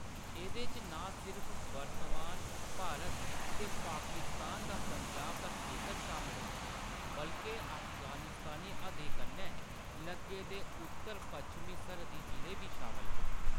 एह्‌‌‌दे च नां सिर्फ वर्तमान भारत ते पाकिस्तान दा पंजाब दा खेतर शामल हा, बल्के अफगानिस्तानी हद्दें कन्नै लग्गे दे उत्तर-पच्छमी सरहद्दी जिले बी शामल हे।